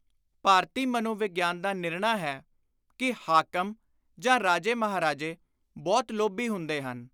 ਭਾਰਤੀ ਮਨੋਵਿਗਿਆਨ ਦਾ ਨਿਰਣਾ ਹੈ ਕਿ ਹਾਕਮ ਜਾਂ ਰਾਜੇ ਮਹਾਰਾਜੇ ਬਹੁਤ ਲੋਭੀ ਹੁੰਦੇ ਹਨ।